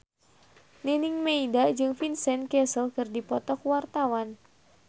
Nining Meida jeung Vincent Cassel keur dipoto ku wartawan